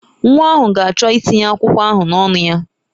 Nwa ahụ ga-achọ ịtinye akwụkwọ ahụ n'ọnụ ya.